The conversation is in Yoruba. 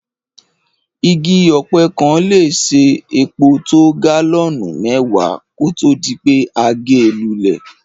Igi ọ̀pẹ kan le se epo to gálọ́nù mẹ́wàá kótó dipé a ge lúlẹ̀